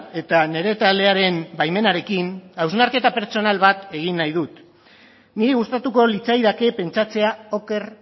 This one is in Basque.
eta nire taldearen baimenarekin hausnarketa pertsonal bat egin nahi dut niri gustatuko litzaidake pentsatzea oker